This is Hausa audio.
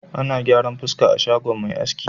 Ana gyaran fuska a shagon mai aski.